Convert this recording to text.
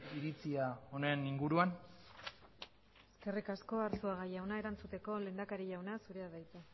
iritzia honen inguruan eskerrik asko arzuaga jauna erantzuteko lehendakari jauna zurea da hitza